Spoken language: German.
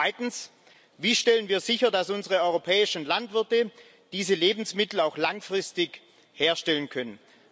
Zweitens Wie stellen wir sicher, dass unsere europäischen Landwirte diese Lebensmittel auch langfristig herstellen können?